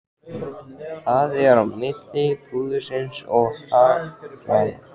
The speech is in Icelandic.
Það er á milli púðursins og haglanna.